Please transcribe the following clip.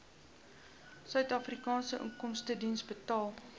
suidafrikaanse inkomstediens betaal